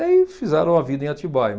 E aí fizeram a vida em Atibaia.